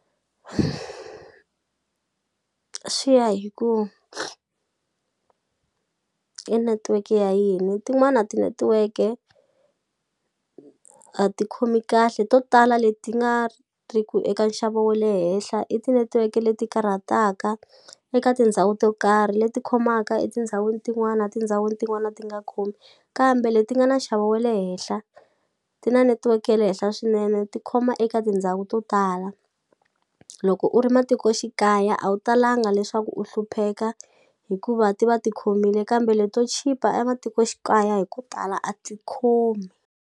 Swi ya hi ku i netiweke ya yini tin'wana tinetiweke a ti khomi kahle to tala leti nga ri ku eka nxavo wa le henhla i tinetiweke leti karhataka eka tindhawu to karhi leti khomaka etindhawini tin'wana tindhawini tin'wana ti nga khomi kambe leti nga na nxavo we le henhla ti na netiweke ya le henhla swinene tikhoma eka tindhawu to tala loko u ri matikoxikaya a wu talanga leswaku u hlupheka hikuva ti va ti khomile kambe leto chipa a matikoxikaya hi ku tala a ti khomi.